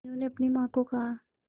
मीनू ने अपनी मां को कहा